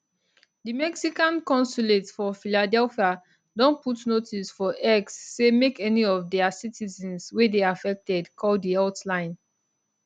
di mexican consulate for philadelphia don put notice for x say make any of dia citizens wey dey affected call di hotline